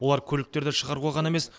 олар көліктерді шығаруға ғана емес